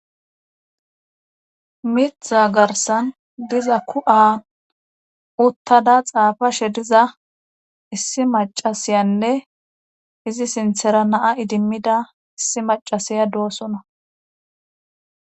mitha garsan diza ku7aa uttada xaafashe diza issi macasiyanne izi sinthera naa idimmida issi macasiya doosona